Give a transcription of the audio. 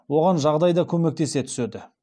оған жағдай да көмектесе түседі